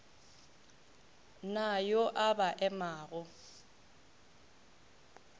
na yo a ba emago